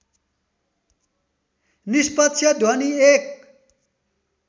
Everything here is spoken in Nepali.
निष्पक्ष ध्वनि एक